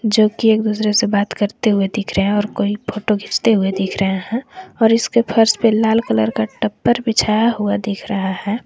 जोकि एक दूसरे से बात करते हुए दिख रहे हैं और कोई फोटो खींचते हुए दिख रहे हैं और इसके फर्श पे लाल कलर का टपर बिछाया हुआ दिख रहा है।